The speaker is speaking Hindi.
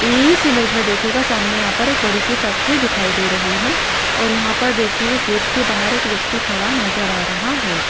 इस इमेज में देखिएगा सामने यहां पर एक बड़ी सी फैक्ट्री दिखाई दे रही है और यहां पर देखिए गेट के बाहर एक व्यक्ति खड़ा नजर आ रहा है।